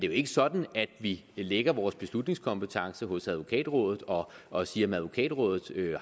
jo ikke sådan at vi lægger vores beslutningskompetence hos advokatrådet og og siger at advokatrådet